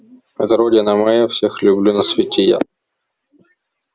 это родина моя всех люблю на свете я